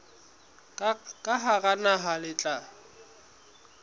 ka hara naha le tla